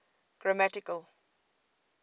grammatical